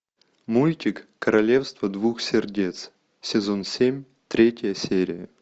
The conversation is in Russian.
мультик королевство двух сердец сезон семь третья серия